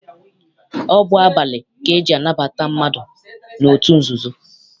Ọ bụ abalị ka eji anabata mmadụ n'otu nzuzo.